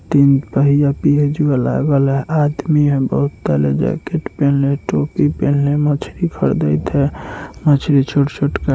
तीन है आदमी है बोतल है जाकेट पहने टॉप पहन मछली मछली छोटा छोटा--